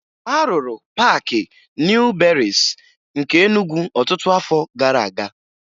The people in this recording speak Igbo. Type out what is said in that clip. A rụrụ Paakị Nịu Berịịsị nke Enugwu ọtụtụ afọ gara aga